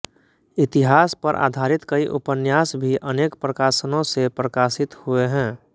इतिहास पर आधारित कई उपन्यासभी अनेक प्रकाशनों से प्रकाशित हुए हैं